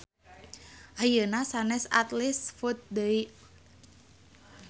Ayeuna sanes Athlete's foot deui